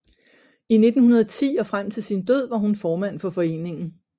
I 1910 og frem til sin død var hun formand for foreningen